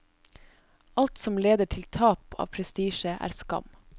Alt som leder til tap av prestisje er skam.